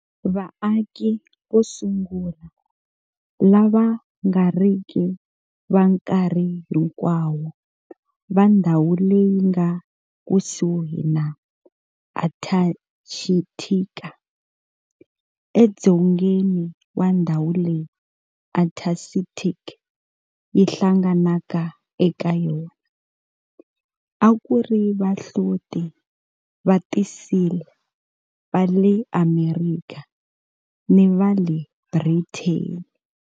Vaaki vo sungula lava nga riki va nkarhi hinkwawo va ndhawu leyi nga ekusuhi na Antarctica, edzongeni wa ndhawu leyi Antarctic yi hlanganaka eka yona, a ku ri vahloti va ti-seal va le Amerika ni va le Britain.